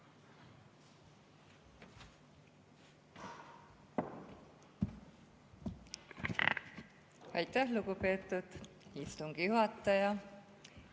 Aitäh, lugupeetud istungi juhataja!